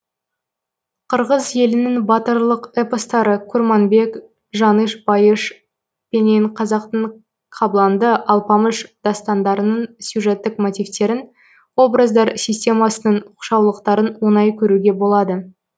қырғыз елінің батырлық эпостары курманбек жаныш байыш пенен қазақтың кабланды алпамыш дастандарының сюжеттік мотивтерін образдар системасының оқшаулықтарын оңай көруге болады